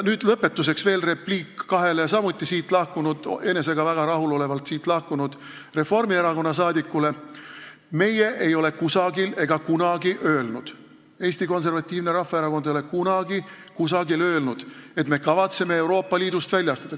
Lõpetuseks veel repliik kahele siit väga rahulolevalt lahkunud Reformierakonna saadikule: meie, Eesti Konservatiivne Rahvaerakond, ei ole kunagi kusagil öelnud, et me kavatseme Euroopa Liidust välja astuda.